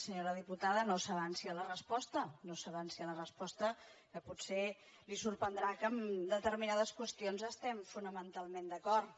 senyora diputada no s’avanci a la resposta no s’avanci a la resposta que potser li sorprendrà que en determinades qüestions estiguem fonamentalment d’acord